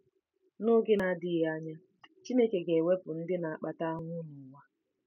N’oge na-adịghị anya, Chineke ga-ewepụ ndị na-akpata ahụhụ n’ụwa.